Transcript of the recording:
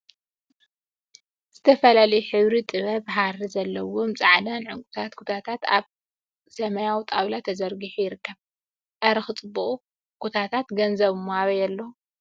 ዝተፈላለዩ ሕብሪ ጥለት ሃሪ ዘለዎም ፃዓዱን ዕንቋይን ኩታታት አብ ሰማያዊ ጣውላ ተዘርጊሑ ይርከብ፡፡ አረ ክፅቡቁ ኩታታት ገንዘብ እሞ አበይ አሎ፡፡